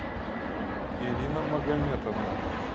ирина магометовна